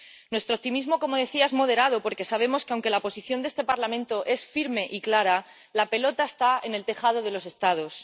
Nuestro optimismo, como decía, es moderado porque sabemos que, aunque la posición de este Parlamento es firme y clara, la pelota está en el tejado de los Estados.